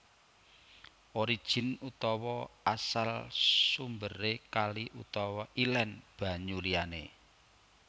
Origin utawa asal sumberé kali utawa ilén banyu liyané